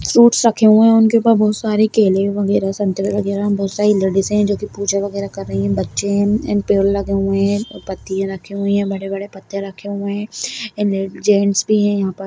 फ्रूट्स रखे हुए हैं उनके पास बहोत सारे केले वगेरा संतरे वगेरा बहोत सारी लेडीज हैं जो पूजा वगेहरा कर रही हैं बच्चे हैं एंड पेड़ लगे हुए हैं पत्तियां रखी हुई हैं बड़े बड़े पत्ते रखे हुए हैं एंड ले-जेंट्स भी हैं यहाँ पर --